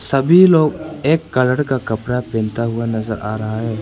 सभी लोग एक कलर का कपड़ा पहनता हुआ नजर आ रहा है।